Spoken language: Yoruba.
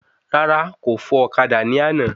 Rárá, kò fò ọ̀kadà ní àná